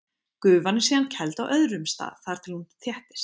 Gufan er síðan kæld á öðrum stað þar til hún þéttist.